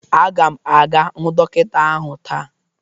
Aga m aga hụ dọkịta ahụ taa.